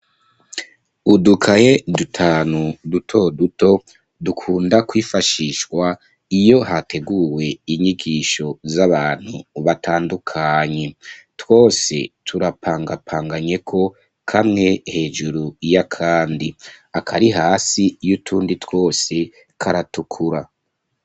Udukaye dutanu, duto duto, dukunda kwifashishwa, iyo hateguwe inyigisho z'abantu batandukanye; twose turapangapanganyeko, kamwe hejuru y'akandi; akari hasi y'utundi twose, karatukura.